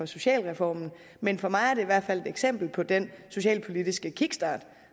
socialreformen men for mig er det i hvert fald et eksempel på den socialpolitiske kickstart